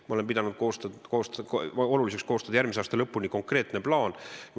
Ma olen pidanud oluliseks koostada järgmise aasta lõpuni konkreetne plaan.